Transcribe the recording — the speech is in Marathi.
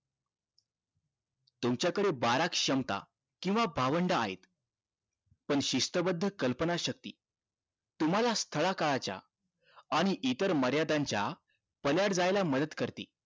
तुमच्या कडे बारा क्षमता केंव्हा भावंडं आहेत पण शिस्तबद्ध कल्पना शक्ती तुम्हाला स्थळ काळाच्या आणि इतर मर्यादा च्या पालियाड जायला मदत करते